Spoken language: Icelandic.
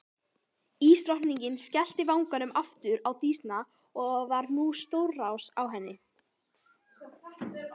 Ísdrottningin skellti vagninum aftur á Dísna og nú stórsá á henni.